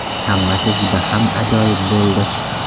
Hammasi juda ham ajoyib bo‘ldi!